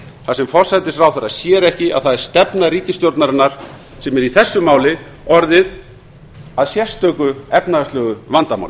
þar sem forsætisráðherra sér ekki að það er stefna ríkisstjórnarinnar sem er í þessu máli orðin að sérstöku efnahagslegu vandamáli